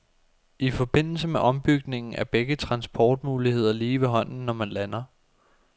I forbindelse med ombygningen er begge transportmuligheder lige ved hånden, når man lander.